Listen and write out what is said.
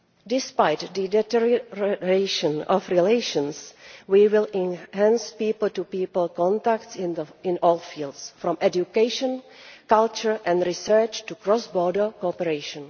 Despite the deterioration of relations, we will enhance people to people contacts in all fields from education, culture and research to cross border cooperation.